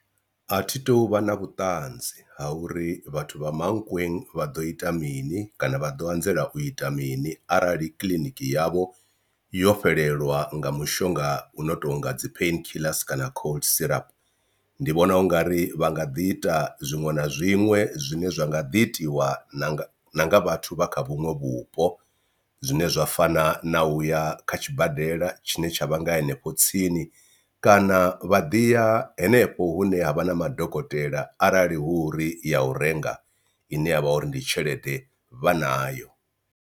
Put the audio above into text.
A thi tu vha na vhutanzi ha uri vhathu vha Mankweng vha ḓo ita mini kana vha ḓo anzela u ita mini arali kiḽiniki yavho yo fhelelwa nga mushonga uno tonga dzi pain killers kana cold syrup. Ndi vhona ungari vha nga ḓi ita zwiṅwe na zwiṅwe zwine zwa nga ḓi itiwa na nga vhathu vha kha vhuṅwe vhupo zwine zwa fana na uya kha tshibadela tshine tsha vha nga hanefho tsini, kana vha ḓi ya henefho hune ha vha na madokotela arali hu uri ya u renga ine ya vha uri ndi tshelede vha nayo.